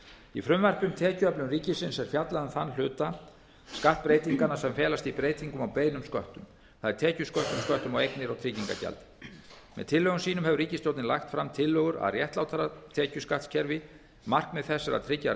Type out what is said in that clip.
í frumvarpi um tekjuöflun ríkisins er fjallað um þann hluta skatt breytinganna sem felast í breytingum á beinum sköttum það er tekjusköttum sköttum á eignir og trygginga gjaldi með tillögum sínum hefur ríkisstjórnin lagt fram tillögur að réttlátara tekjuskattskerfi markmið þess er að tryggja